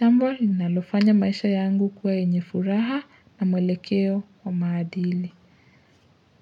jambo linalofanya maisha yangu kwa enyefuraha na mwelekeo wa maadili.